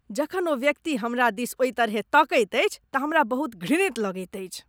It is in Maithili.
जखन ओ व्यक्ति हमरा दिस ओहि तरहेँ तकैत अछि तँ हमरा बहुत घृणित लगैत अछि।